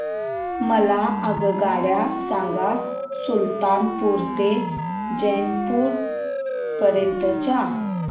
मला आगगाडी सांगा सुलतानपूर ते जौनपुर पर्यंत च्या